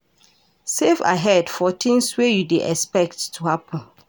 Save ahead for things wey you dey expect to happen